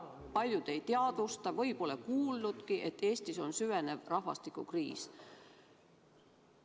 Paljud ei teadvusta või pole nagu kuulnudki, et Eestis on süvenev rahvastikukriis.